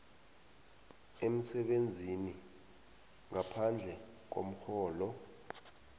emsebenzini ngaphandle komrholo